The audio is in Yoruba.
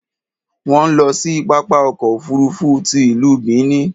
Wọ́n ń lọ sí pápá ọkọ̀ òfuurufú ti ìlú Benin.